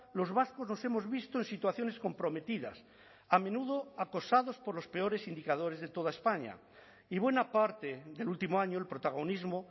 los vascos nos hemos visto en situaciones comprometidas a menudo acosados por los peores indicadores de toda españa y buena parte del último año el protagonismo